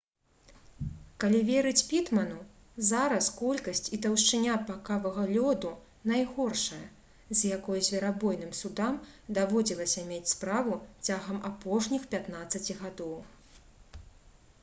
калі верыць пітману зараз колькасць і таўшчыня пакавага лёду найгоршая з якой зверабойным судам даводзілася мець справу цягам апошніх 15 гадоў